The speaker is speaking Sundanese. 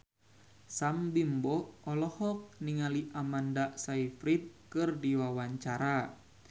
Sam Bimbo olohok ningali Amanda Sayfried keur diwawancara